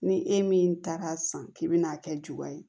Ni e min taara san k'i bi n'a kɛ juga ye